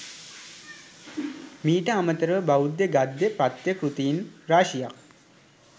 මීට අමතරව බෞද්ධ ගද්‍ය පද්‍ය කෘතීන් රාශියක්